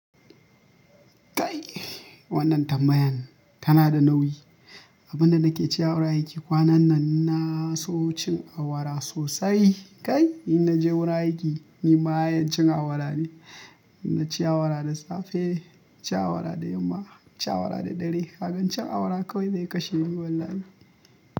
Kai wannan tambayan tana da nauyi. Abin da nake cewa aiki kwanan nan na so cin awara sosai. Kai, in naje wurin aiki ni ma'yan cin awara ne. Inna ci awara da safe, ci awara da yamma, ci awara da dare. Kabi cin awara kawai zai kashe ni wallahi.